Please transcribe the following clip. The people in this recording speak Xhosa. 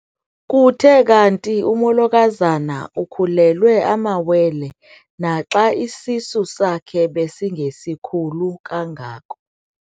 Kuthe kanti umolokazana ukhulelwe amawele naxa isisu sakhe besingesikhulu kangako.